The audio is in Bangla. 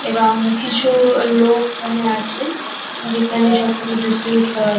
এবং কিছু লোক এখানে আছে যেখানে সব কিছু ডিস্ট্রিবিউট করা হ--